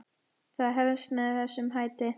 Það hefst með þessum hætti: